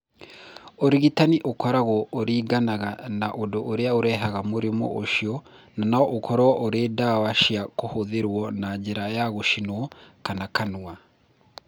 Ũrigitani ũkoragwo uringanaga na ũndũ ũrĩa ũrehaga mũrimũ ũcio na no ũkorũo ũrĩ ndawa cia kũhũthĩrũo na njĩra ya gũcinwo kana kanua.